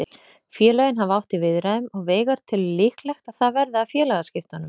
Félögin hafa átt í viðræðum og Veigar telur líklegt að það verði af félagaskiptunum.